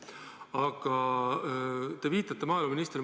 Aga te viitate maaeluministrile.